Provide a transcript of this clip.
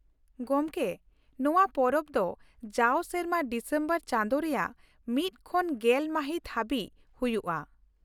ᱜᱚᱢᱠᱮ, ᱱᱚᱶᱟ ᱯᱚᱨᱚᱵᱽ ᱫᱚ ᱡᱟᱣ ᱥᱮᱨᱢᱟ ᱰᱤᱥᱮᱢᱵᱚᱨ ᱪᱟᱸᱫᱳ ᱨᱮᱭᱟᱜ ᱢᱤᱫ ᱠᱷᱚᱱ ᱜᱮᱞ ᱢᱟᱹᱦᱤᱛ ᱦᱟᱹᱵᱤᱡ ᱦᱩᱭᱩᱜᱼᱟ ᱾